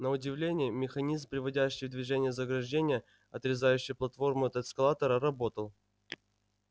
на удивление механизм приводящий в движение заграждение отрезающее платформу от эскалатора работал